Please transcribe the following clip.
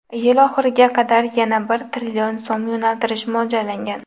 Yil oxiriga qadar yana bir trillion so‘m yo‘naltirish mo‘ljallangan.